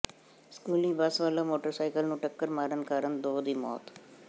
ਸਕੂਲੀ ਬੱਸ ਵੱਲੋਂ ਮੋਟਰਸਾਈਕਲ ਨੂੰ ਟੱਕਰ ਮਾਰਨ ਕਾਰਨ ਦੋ ਦੀ ਮੌਤ